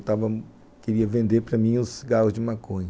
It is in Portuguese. queria vender para mim os cigarros de maconha.